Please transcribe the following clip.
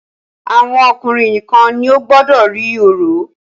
Àwọn ọkùnrin nìkan ni ó gbọdọ rí orò.